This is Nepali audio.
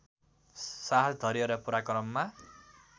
साहस धैर्य र पराक्रममा